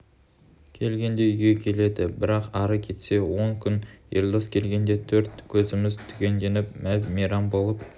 келгенде үйге келеді бірақ ары кетсе он күн елдос келгенде төрт көзіміз түгелденіп мәз-мейрам болып